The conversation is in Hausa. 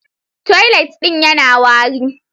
Toilet din yana wari.